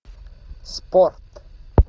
спорт